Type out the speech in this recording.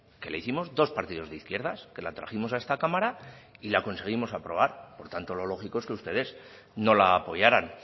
que le hicimos dos partidos de izquierdas que la trajimos a esta cámara y la conseguimos aprobar por tanto lo lógico es que ustedes no la apoyaran